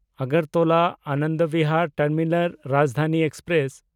Agartala-Anand Bihar terminal Rajdhani express